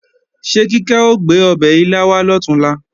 Ṣé Kíkẹ́ ò gbé ọbẹ̀ ilá wá lọ̀túnla?